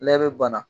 Lɛ bɛ bana